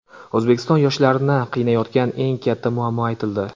O‘zbekiston yoshlarini qiynayotgan eng katta muammo aytildi.